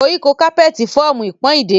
Koriko capeti fọọmu ipon ideri.